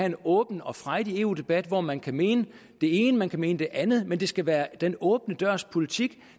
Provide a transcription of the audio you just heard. en åben og frejdig eu debat hvor man kan mene det ene man kan mene det andet men det skal være den åbne dørs politik